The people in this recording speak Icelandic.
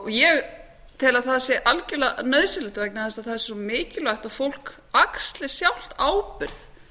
ég tel að það sé algjörlega nauðsynlegt vegna þess að það sé svo mikilvægt að fólk axli sjálft ábyrgð